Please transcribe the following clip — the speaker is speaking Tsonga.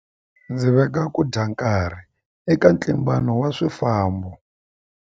Ndzi venga ku dya nkarhi eka ntlimbano wa swifambo.